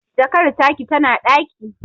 Jakar taki tana ɗaki